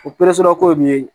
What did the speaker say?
O ko bɛ yen